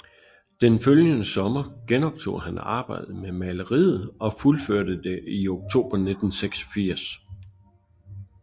Den følgende sommer genoptog han arbejdet med maleriet og fuldførte det i oktober 1986